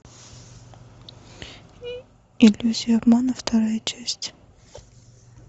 иллюзия обмана вторая часть